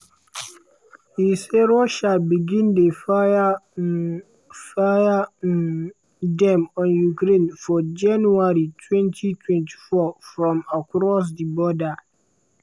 e say russia begin dey fire um fire um dem on ukraine for january 2024 from across di border.